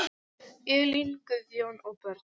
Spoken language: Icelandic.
Elín, Guðjón og börn.